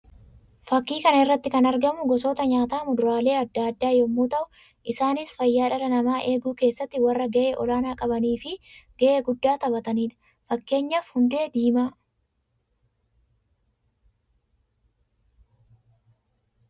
Fakkii kana irratti kan argamu gosoota nyaataa muduraalee addaa addaa yammuu ta'u; isaannis fayyaa dhalaa namaa eeguu keessatti warra ga'ee ol'aanaa qabanii fi ga'ee guddaa taphatanii dha. Fakkeenyaaf hundee diimaa.